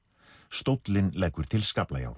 stóllinn leggur til